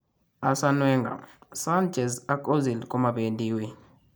Arsene Wenger:Sanchez ak Ozil komabeendi wuii